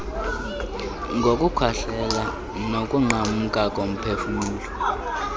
ngokukhohlela nokunqamka komphefumlo